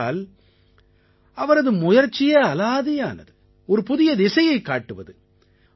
ஏனென்றால் அவரது முயற்சியே அலாதியானது ஒரு புதிய திசையைக் காட்டுவது